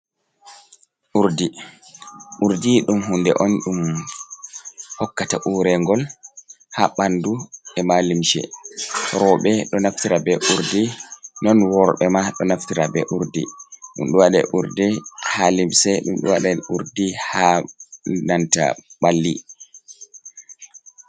Urdi: Urdi ɗum hunde on ɗum hokkata urengol ha ɓandu e'ma limshe. Roɓe ɗo naftira be urdi non worɓe ma ɗo naftira be urdi. Ɗum ɗo wada urdi ha limse, ɗum ɗo waɗe urdi ha nanta ɓalli.